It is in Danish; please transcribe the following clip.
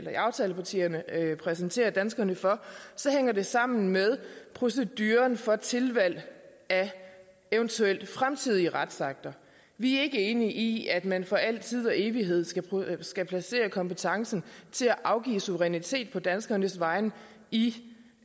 aftalepartierne præsenterer danskerne for så hænger det sammen med proceduren for tilvalg af eventuelle fremtidige retsakter vi er ikke enige i at man for al tid og evighed skal skal placere kompetencen til at afgive suverænitet på danskernes vegne i